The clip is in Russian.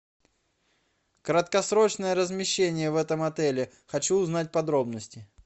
краткосрочное размещение в этом отеле хочу узнать подробности